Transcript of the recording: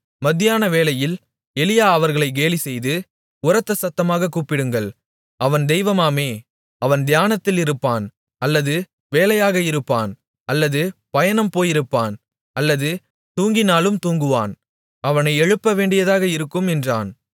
மத்தியானவேளையில் எலியா அவர்களை கேலிசெய்து உரத்த சத்தமாகக் கூப்பிடுங்கள் அவன் தெய்வமாமே அவன் தியானத்தில் இருப்பான் அல்லது வேலையாக இருப்பான் அல்லது பயணம் போயிருப்பான் அல்லது தூங்கினாலும் தூங்குவான் அவனை எழுப்பவேண்டியதாக இருக்கும் என்றான்